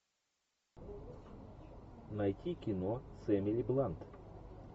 найти кино с эмили блант